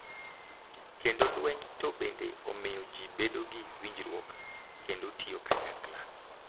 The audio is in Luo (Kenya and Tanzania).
Kendo lweny to bende omiyo ji bedo gi winjruok kendo tiyo kanyakla,